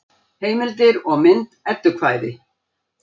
Heimildir og mynd Eddukvæði.